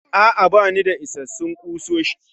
A'a, bani da isassun kusoshi